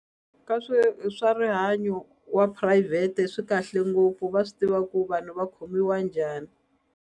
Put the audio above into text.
swi i swa rihanyo wa phurayivhete swi kahle ngopfu va swi tiva ku vanhu va khomiwa njhani.